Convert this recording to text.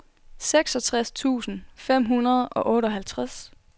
seksogtres tusind fem hundrede og otteoghalvtreds